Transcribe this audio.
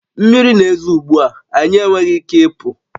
Mmiri na-ezo ugbu a, anyị enweghị ike ịpụ